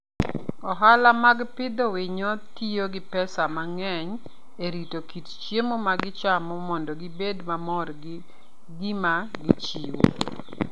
Ohala mag pidho winyo tiyo gi pesa mang'eny e rito kit chiemo ma gichamo mondo gibed mamor gi gima gichiwo.